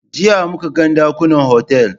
Jiya muka ga ɗakunan otal.